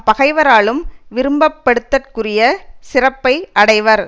பகைவராலும் விரும்பப்படுதற்குறிய சிறப்பை அடைவர்